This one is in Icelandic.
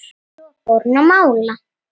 Svo fór hann að mála.